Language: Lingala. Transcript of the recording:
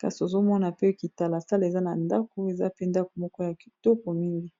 kasi ozomona pe kitala sala eza na ndako eza pe ndako moko ya kitoko mingi